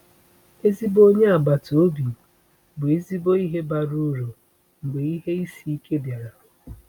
Ezigbo onye agbata obi bụ ezigbo ihe bara uru mgbe ihe isi ike bịara.